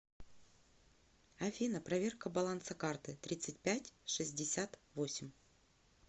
афина проверка баланса карты тридцать пять шестьдесят восемь